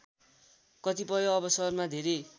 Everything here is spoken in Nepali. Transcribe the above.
कतिपय अवसरमा धेरै